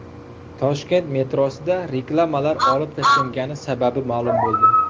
Toshkent metrosida reklamalar olib tashlangani sababi ma’lum bo‘ldi.